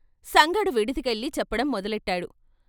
సంగడు విడిదికెళ్ళి చెప్పడం మొదలెట్టాడు.